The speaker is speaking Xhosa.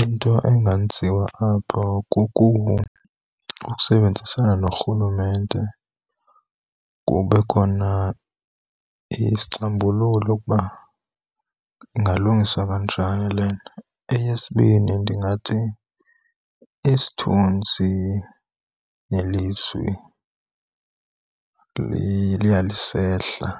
Into engenziwa apho kukusebenzisana norhulumente kube khona isixambululo ukuba ingalungiswa kanjani le nto. Eyesibini, ndingathi isithunzi nelizwi liya lisehla.